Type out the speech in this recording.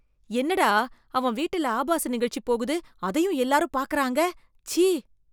என்னடா அவன் வீட்டுல ஆபாச நிகழ்ச்சி போகுது அதயும் எல்லாரும் பாக்குறாங்க, சீ.